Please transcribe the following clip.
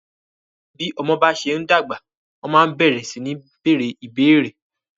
Bí ọmọ bá ṣe ń dàgbà, wọ́n máa ń bẹ̀rẹ sí ní bèèrè ìbéérè.